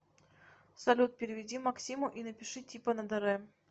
салют переведи максиму и напиши типа на др